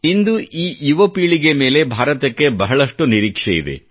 ಇಂದು ಈ ಯುವ ಪೀಳಿಗೆ ಮೇಲೆ ಭಾರತಕ್ಕೆ ಬಹಳಷ್ಟು ನಿರೀಕ್ಷೆ ಇದೆ